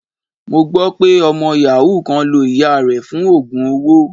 Mo gbọ́ pé ọmọ yàhú kan lo ìyáa rẹ̀ fún oogun owó.